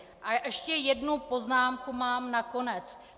A ještě jednu poznámku mám na konec.